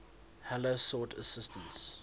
heller sought assistance